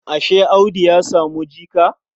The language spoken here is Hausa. Ashe Audu ya samu jika?